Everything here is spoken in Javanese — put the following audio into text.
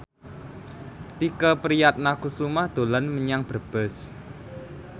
Tike Priatnakusuma dolan menyang Brebes